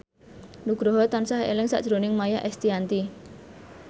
Nugroho tansah eling sakjroning Maia Estianty